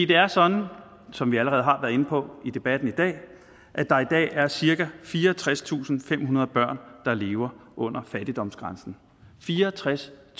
det er sådan som vi allerede har været inde på i debatten i dag at der i dag er cirka fireogtredstusinde og femhundrede børn der lever under fattigdomsgrænsen fireogtredstusinde og